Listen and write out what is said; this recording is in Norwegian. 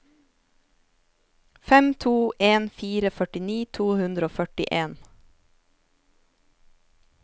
fem to en fire førtini to hundre og førtien